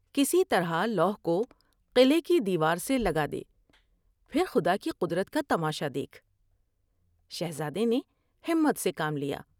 کسی طرح لوح کو قلعے کی دیوار سے لگا دے پھر خدا کی قدرت کا تماشا دیکھ '' شہزادے نے ہمت سے کام لیا ۔